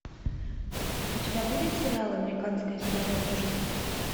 у тебя будет сериал американская история ужасов